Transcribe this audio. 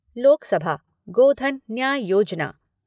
Lok Sabha Godhan Nyay Yojana